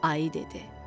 Ayı dedi: